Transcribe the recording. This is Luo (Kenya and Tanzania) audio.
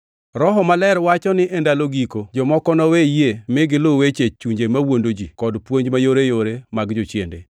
Roho Maler wacho ni e ndalo giko jomoko nowe yie mi giluw weche chunje mawuondo ji kod puonj mayoreyore mag jochiende.